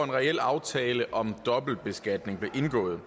en reel aftale om dobbeltbeskatning blev indgået